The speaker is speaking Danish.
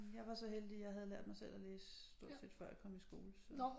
Jeg var så heldig jeg havde lært mig selv at læse stort set før jeg kom i skole så